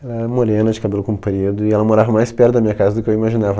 Ela era morena, de cabelo comprido, e ela morava mais perto da minha casa do que eu imaginava.